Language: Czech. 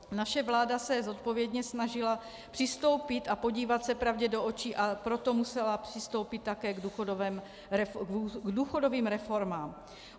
Naše vláda se zodpovědně snažila přistoupit a podívat se pravdě do očí, a proto musela přistoupit také k důchodovým reformám.